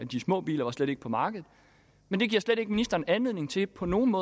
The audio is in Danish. de små biler var slet ikke på markedet men det giver slet ikke ministeren anledning til på nogen